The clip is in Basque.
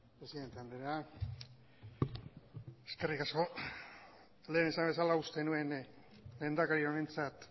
presidente andrea eskerrik asko lehen esan bezala uste nuen lehendakari honentzat